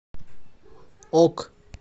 ок